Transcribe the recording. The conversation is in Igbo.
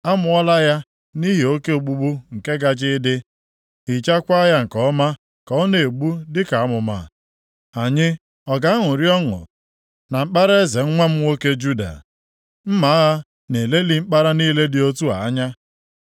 Amụọla ya nʼihi oke ogbugbu nke gaje ịdị, hichakwaa ya nke ọma ka ọ na-egbu dịka amụma. “ ‘Anyị ọ ga-aṅụrị ọṅụ na mkpara eze nwa m nwoke Juda? Mma agha na-elelị mkpara niile dị otu a anya.